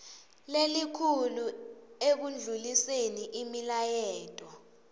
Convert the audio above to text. lelikhulu ekundluliseni imilayeto